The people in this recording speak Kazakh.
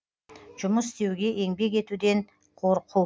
жұмыс істеуге еңбек етуден қорқу